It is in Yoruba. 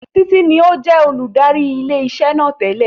Títí ní ó jẹ́ olùdarí ilé iṣẹ́ náà tẹ́lẹ̀